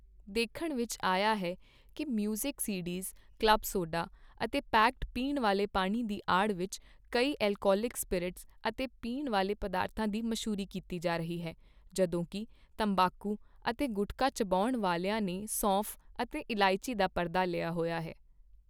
ਦੇਖਣ ਵਿੱਚ ਆਇਆ ਹੈ ਕੀ ਮਿਊਜ਼ਿਕ ਸੀਡੀਜ਼, ਕਲੱਬ ਸੋਡਾ ਅਤੇ ਪੈਕਡ ਪੀਣ ਵਾਲੇ ਪਾਣੀ ਦੀ ਆੜ ਵਿੱਚ ਕਈ ਅਲਕੋਹਲਿਕ ਸਪਿਰਿਟਸ ਅਤੇ ਪੀਣ ਵਾਲੇ ਪਦਾਰਥਾਂ ਦੀ ਮਸ਼ਹੂਰੀ ਕੀਤੀ ਜਾ ਰਹੀ ਹੈ ਜਦੋਂਕੀ ਤੰਬਾਕੂ ਅਤੇ ਗੁਟਖਾ ਚਬਾਉਣ ਵਾਲਿਆਂ ਨੇ ਸੌਂਫ ਅਤੇ ਇਲਾਇਚੀ ਦਾ ਪਰਦਾ ਲਿਆ ਹੋਇਆ ਹੈ।